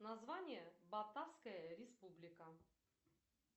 название батавская республика